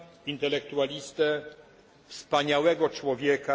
intelektualistę, wspaniałego człowieka.